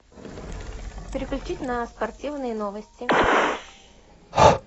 переключить на спортивные новости